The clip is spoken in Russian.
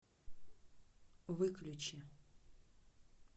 выключи